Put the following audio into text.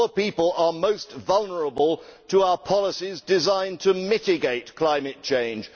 Poor people are most vulnerable to our policies designed to mitigate climate change